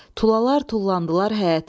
Tulalar tullandılar həyətə.